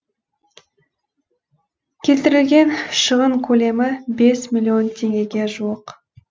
келтірілген шығын көлемі бес миллион теңгеге жуық